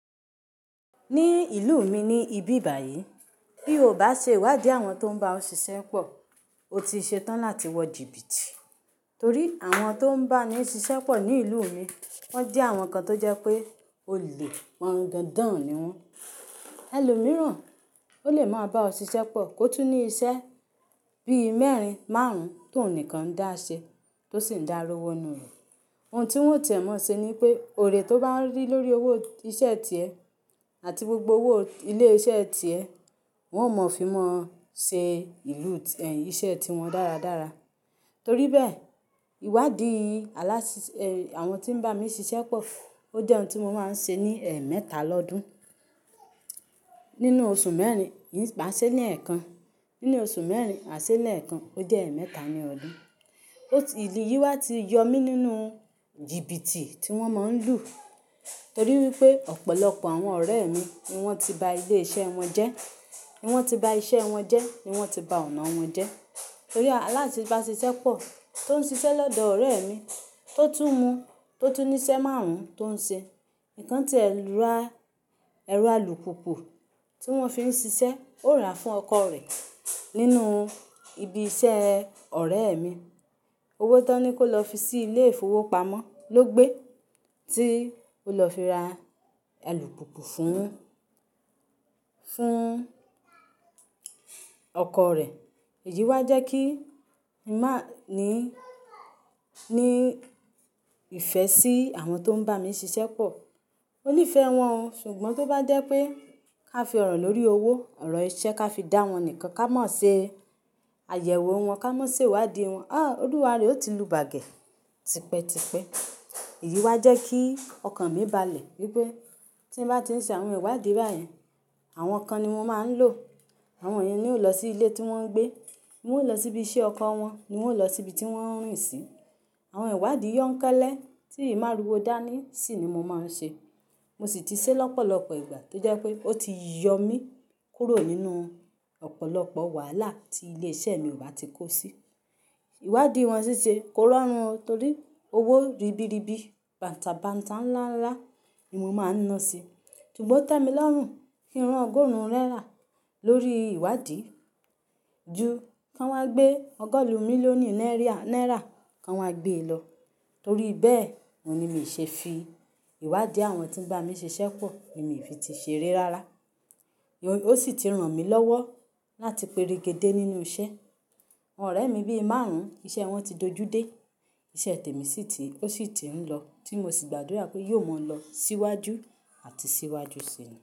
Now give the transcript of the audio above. Ní ìlú mi ní ibi báyìí, bí o ò bá ṣe ìwádìí àwọn tó ń bá ọ ṣiṣẹ́ pọ̀, o ti ṣe tán láti wọ jìbìtì. Torí àwọn tó ń bá mi ṣiṣẹ́ pọ̀ ní ìlú mi, wọ́n jẹ́ àwọn kan tó jẹ pé olè wọ̀n dandan ni wọ́n. Ẹlòmíràn ó lè máa bá ọ ṣiṣẹ́ pọ̀ kó tún ní iṣẹ́ bí mẹ́rin, márùn-ún tó nìkan dáṣẹ tó sì ń darowọ nú rẹ̀. Ohun tí wọ́n ò tiẹ̀ mọ́ ṣe ni pé, ore tó bá rí lórí owó iṣẹ́ tiẹ àti gbogbo owó ilé iṣẹ́ ti ẹ, wọn ò mọ̀ fí mọ́ ṣe ìlú iṣẹ́ tí wọn dára dára. Torí bẹ́ẹ̀, ìwádìí aláṣi, àwọn tí ń bá mi ṣiṣẹ́ pọ̀, ó jẹ́ ohun tí mo máa ń ṣe ní ẹ mẹ́ta lọ́dún. Nínú oṣù mẹ́rin, maà ṣẹ ní ẹ̀ẹ̀kan. Nínú oṣù mẹ́rin, maà ṣẹ lẹ́ẹ̀kan, ó jẹ́ e mẹ́ta ni ọdún. Ó ti, ìlú yìí wá ti yọ mí nínú jìbìtì tí wọ́n máa ń lù. Torí wípé ọ̀pọ̀lọpọ̀ àwọn ọ̀rẹ́ mi ni wọ́n ti ba ilé iṣẹ́ wọn jẹ́, ni wọ́n ti ba iṣẹ́ wọn jẹ́, ni wọ́n ti ba ọ̀nà wọn jẹ́. Torí aláṣẹ bá ṣe iṣẹ́ pọ̀ tó ń ṣe iṣẹ́ lọ́dọ̀ ọ̀rẹ́ mi, tó tún mu, tó tún ní iṣẹ́ márùn-ún tó ń ṣe, nǹkan tí ẹ̀ ra, ẹ̀rọ alùpùpù tí wọ́n fi ń ṣiṣẹ́ ó ra fún ọkọ rẹ̀ nínú ibi iṣẹ́ ọ̀rẹ́ mi. Owó tón ní kó lọ fi sí ilé ìfowópamọ́ ló gbé tí ó lọ fi ra alùpùpù fún, fún ọkọ rẹ̀. Èyí wá jẹ́ kí n máa ní, ní ìfẹ́ sí àwọn tó ń bá mi ṣiṣẹ́ pọ̀. Mo ní ìfẹ́ wọn o, ṣùgbọ́n tó bá dé pé ká fi ọ̀rọ̀ lórí owó, ọ̀rọ̀ iṣẹ́ ká fi dá wọn nìkan, ká mọ̀ ṣe àyẹ̀wò wọn, ká mọ̀ ṣe ìwádìí wọn. Olúwa rẹ̀ ò tí lu bàgẹ̀. Tipẹ́, tipẹ́. Èyí wá jẹ́ kí ọkàn mi balẹ̀ wípé tí n bá ti ń ṣe àwọn ìwádìí báyìí, àwọn kan ni mo máa ń lò. Àwọn yen ni ó lọ sí ilé tí wọ́n ń gbé. Ni wọ́n ó lọ sí ibi iṣẹ́ ọkọ wọn, ni wọ́n ó lọ sí ibi tí wọ́n ń rìn sí. Àwọn ìwádìí yọ́ńkelẹ́ tí ì má ru o dá ní sì ni mo máa ń ṣe. Mo sì ti ṣe lọ́pọ̀lọpọ̀ ìgbà tó jẹ́ pé ó ti yọ mí kúrò nínú ọ̀pọ̀lọpọ̀ wàhálà tí ilé iṣẹ́ mi ò bá ti kó si. Ìwádìí wọn sí ṣe koránrun o torí owó ribiribi, bàǹtàbàǹtà ńlá ńlá ni mo máa ń ná sí. Ṣùgbọ́n tẹ́mi lọ́rùn kí n rán ogórún rẹ́rà lórí ìwádìí ju kí wọ́n gbé ọgọ́rùn-ún mílíọ̀nì náírà, náírà kí wọ́n gbé e lọ. Torí bẹ́ẹ̀, òun ni mi ṣe fi ìwádìí àwọn tí ń bá mi ṣe iṣẹ́ pọ̀, èmi ì fi ti ṣe re rára. O sì ti ràn mí lọ́wọ́ láti pé regede nínú iṣẹ́. Àwọn ọ̀rẹ́ mi bí i márùn-ún, iṣẹ́ wọn ti dojú dé. Iṣẹ́ tẹ̀mí sì ti, ó sì ti ń lọ tí mo sì gbàdúrà pé yóò mọ̀ lọ síwájú àti síwájú ṣi.